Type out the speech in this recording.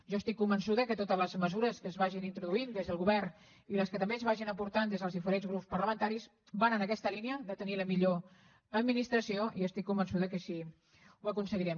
jo estic convençuda que totes les mesures que es vagin introduint des del govern i les que també es vagin aportant des dels diferents grups parlamentaris van en aquesta línia de tenir la millor administració i estic convençuda que així ho aconseguirem